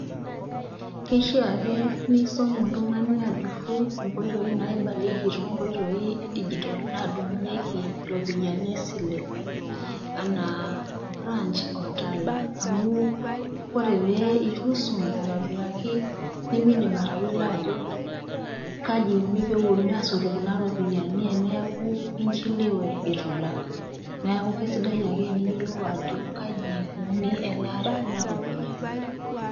Keshaa ake neisom oltung'ani ajurru inkoitoi naibalieki too nkoitoi e dijitol nadung'ieki iropiani e sile anaa branch o tala. Amu ore peitusom atumokii, nemeindim atayiolo ajo kaji eikuni pewuonuni asotu kuna ropiani teneaku inchelewe eitu ilak. Neaku kesidai ake teniyiolou ajo kaji eikuni elaata ekuna rupiani.